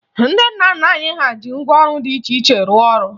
Ndị nna nna anyị ji ngwaọrụ dị iche iche rụọ ọrụ